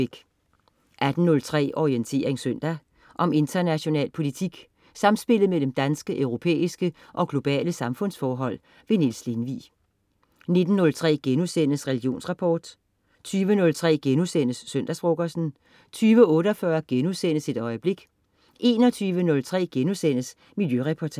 18.03 Orientering søndag. Om international politik, samspillet mellem danske, europæiske og globale samfundsforhold. Niels Lindvig 19.03 Religionsrapport* 20.03 Søndagsfrokosten* 20.48 Et øjeblik* 21.03 Miljøreportagen*